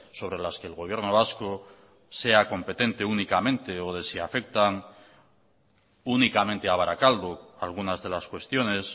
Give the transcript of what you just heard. sobre las que el gobierno vasco sea competente únicamente o de si afectan únicamente a barakaldo algunas de las cuestiones